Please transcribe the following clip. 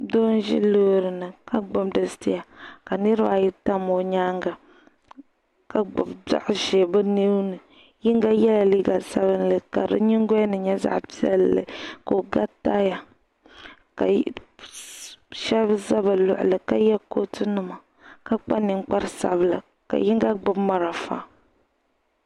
Doo n ʒi loori ni ka gbubi di sitia ka niriba ayi tam o nyaaŋa ka gbubi dɔɣi ʒee bɛ nuuni. Yinga yela liiga sabinli ka di nyingol' ni nye zaɣi pielli. ka o ga taaya ka shebi za bɛ luɣili ka ye kootunima ka kpa ninkpara sabila